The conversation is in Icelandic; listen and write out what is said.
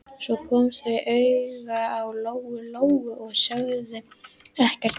Svo komu þau auga á Lóu-Lóu og sögðu ekkert meira.